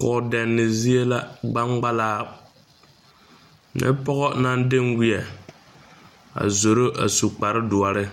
Kɔɔdɛnne zie la gbaŋgbalaa nyɛ pɔgɔ naŋ denweɛ a zoro a su kpare doɔre